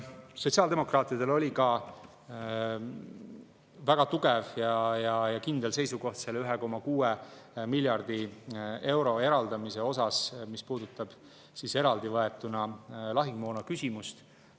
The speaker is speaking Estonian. Sotsiaaldemokraatidel oli ka väga tugev ja kindel seisukoht selle 1,6 miljardi euro eraldamise suhtes, mis puudutab eraldi võetuna lahingumoona küsimust.